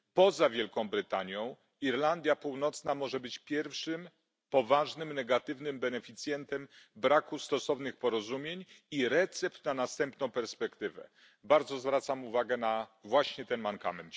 Poza Wielką Brytanią, Irlandia Północna może być pierwszym poważnym negatywnym beneficjentem braku stosownych porozumień i recept na następną perspektywę, zwracam uwagę właśnie ten mankament.